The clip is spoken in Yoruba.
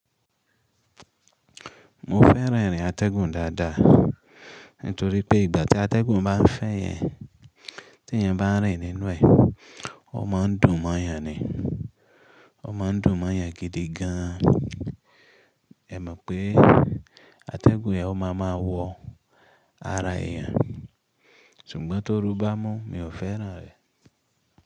Mo fẹ́ràn irin atẹ́gùn dáadáa, nítorí pé ìgbà tí atẹ́gùn bá ń fẹ́ yẹn, tí ẹyan bá ń rìn nínú ẹ̀, ó máa ń dùn mọ́yàn ni. Ó máa ń dùn mọ́yàn gidi gan an. Ẹ mọ̀ pé atẹ́gùn yẹn ó máa ma wọ ara èèyàn, ṣùgbọ́n tó rú bá mú, mi ò fẹ́ràn rẹ̀